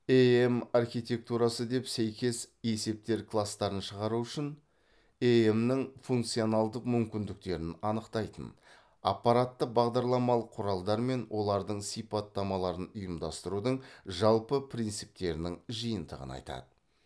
эем архитектурасы деп сәйкес есептер класстарын шығару үшін эем нің функционалдық мүмкіндіктерін анықтайтын аппаратты бағдарламалық құралдар мен олардың сипаттамаларын ұйымдастырудың жалпы принциптерінің жиынтығын айтады